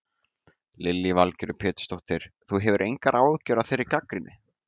Lillý Valgerður Pétursdóttir: Þú hefur engar áhyggjur af þeirri gagnrýni?